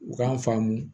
U k'an faamu